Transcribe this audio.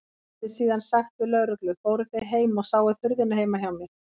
Hann hefði síðan sagt við lögreglu: Fóruð þið heim og sáuð hurðina heima hjá mér?